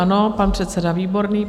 Ano, pan předseda Výborný.